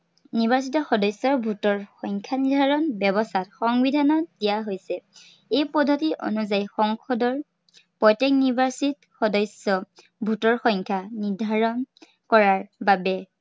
নিৰ্বাচিত সদস্য়ৰ vote ৰ সংখ্য়া নিৰ্ধাৰন কৰাৰ ব্য়ৱস্থা সংবিধানত দিয়া হৈছে। এই পদ্ধতি অনুযায়ী সংসদৰ, প্ৰত্য়েক নিৰ্বাচিত সদস্য়ৰ vote ৰ সংখ্য়া নিৰ্ধাৰন কৰাৰ বাবে